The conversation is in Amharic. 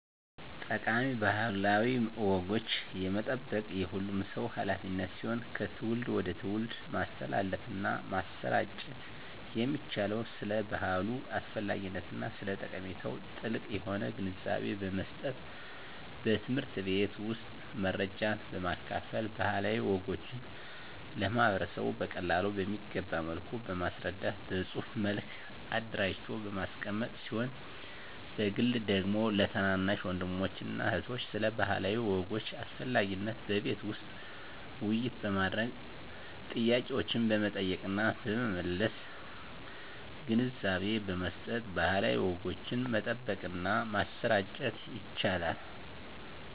ጠቃሚ ባህላዊ ወጎችን የመጠበቅ የሁሉም ሰው ሀላፊነት ሲሆን ከትውልድ ወደ ትውልድ ማስተላለፍና ማሰራጨት የሚቻለው ስለ ባህሉ አስፈላጊነትና ስለ ጠቀሜታው ጥልቅ የሆነ ግንዛቤን በመስጠት በትምህርት ቤት ውስጥ መረጃን በማካፈል ባህላዊ ወጎችን ለማህበረሰቡ በቀላሉ በሚገባ መልኩ በማስረዳት በፅሁፍ መልክ አደራጅቶ በማስቀመጥ ሲሆን በግል ደግሞ ለታናናሽ ወንድሞችና እህቶች ስለ ባህላዊ ወጎች አስፈላጊነት በቤት ውስጥ ውይይት በማድረግ ጥያቄዎችን በመጠየቅና በመመለስ ግንዛቤ በመስጠት ባህላዊ ወጎችን መጠበቅና ማሰራጨት ይቻላል።